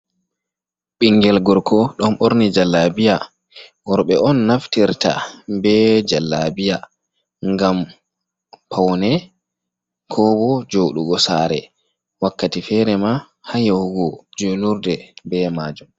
Ɓingel gorko ɗo ɓorni jallabiya. Worɓe on naftirta be jallabiya ngam paune ko bo joɗugo sare. Wakkati fere ma ha yahugo julurde be majum.